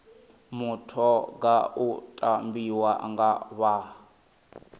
mutoga u tambiwa nga vha